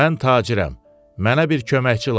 Mən tacirəm, mənə bir köməkçi lazımdır.